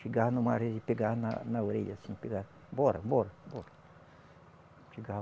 Chegava numa rês e pegava na na orelha assim, pegava... Bora, bora, bora.